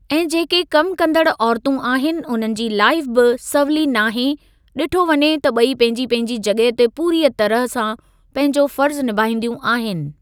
ऐं जेके कम कंदड़ु औरतूं आहिनि उन्हनि जी लाइफ़ बि सवली न आहे ॾिठो वञे त ॿई पंहिंजी पंहिंजी जॻहि ते पूरीअ तरह सां पंहिंजो फर्ज़ निभाईंदियूं आहिनि।